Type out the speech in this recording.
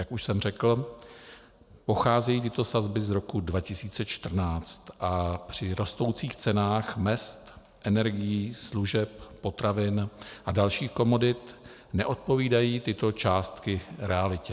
Jak už jsem řekl, pocházejí tyto sazby z roku 2014, a při rostoucích cenách mezd, energií, služeb, potravin a dalších komodit neodpovídají tyto částky realitě.